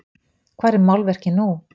Hvar er málverkið nú?